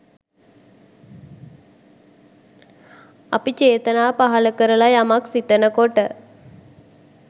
අපි චේතනා පහළ කරලා යමක් සිතන කොට